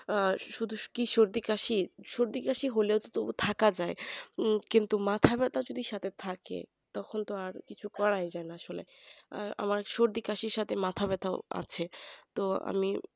আহ শুধু সর্দি-কাশি হলেও তবু থাকা যায় উম কিন্তু মাথাব্যথা সাথে থাকে তখন তো আর কিছুই করা যায় না আর আমার সর্দি কাশির সাথে মাথাব্যথা আছে তো আমি